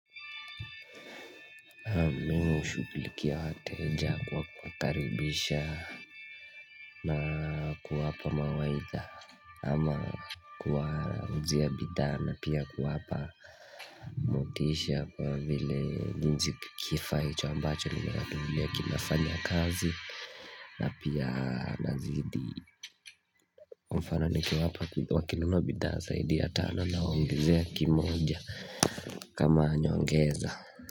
Mimi hushughulikia wateja kwa kuwakaribisha na kuwapa mawaidha ama kuwauzia bidhaa na pia kuwapa motisha kwa vile hicho kifaa ambacho nimewanunulia kinafanyakazi na pia nazidi mfano nikiwapa wakinunua bidhaa zaidi ya tano nawaongezea kimoja kama nyongeza.